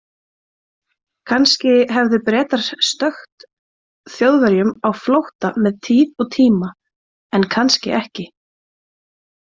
Kannski hefðu Bretar stökkt Þjóðverjum á flótta með tíð og tíma, en kannski ekki.